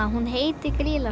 hún heitir Grýla